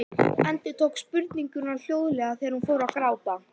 Endurtók spurninguna hljóðlega þegar hún fór að gráta.